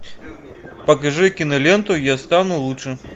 покажи киноленту я стану лучше